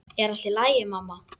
Er allt í lagi, mamma?